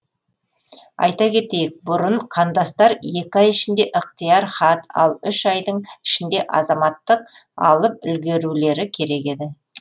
айта кетейік бұрын қандастар екі ай ішінде ықтияр хат ал үш айдың ішінде азаматтық алып үлгерулері керек еді